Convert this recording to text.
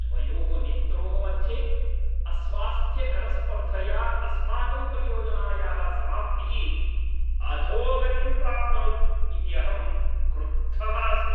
द्वयोः नेत्रोः मध्ये अस्वास्थ्यकरस्पर्धया अस्माकं परियोजनायाः समाप्तिः अधोगतिं प्राप्नोत् इति अहं क्रुद्धः अस्मि।